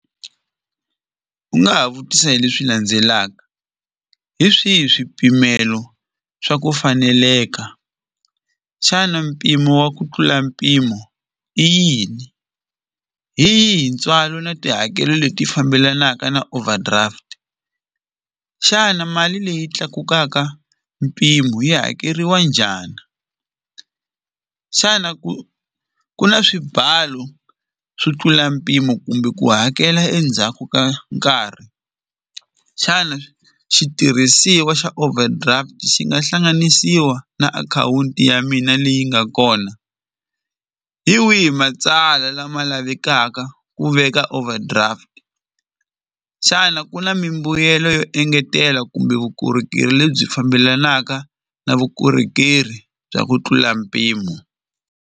U nga ha vutisa hi leswi landzelaka, hi swihi swipimelo swa ku faneleka xana mpimo wa ku tlula mpimo i yini hi yihi ntswalo na tihakelo leti fambelanaka na overdraft xana mali leyi tlakukaka mpimo yi hakeriwa njhani xana ku ku na swimbalo swo tlula mpimo kumbe ku hakela endzhaku ka nkarhi xana xitirhisiwa xa overdraft xi nga hlanganisiwa na akhawunti ya mina leyi nga kona hi wihi matsala lama lavekaka ku veka overdraft xana ku na mimbuyelo yo engetela kumbe vukorhokeri lebyi fambelanaka na vukorhokeri bya ku tlula mpimo.